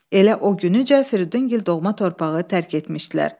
Elə o güncə Firidun Gil doğma torpağı tərk etmişdilər.